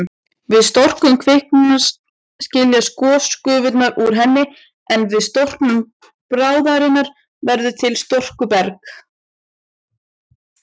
Við storknun kvikunnar skiljast gosgufurnar úr henni, en við storknun bráðarinnar verður til storkuberg.